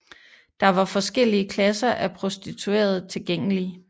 Der var forskellige klasser af prostituerede tilgængelige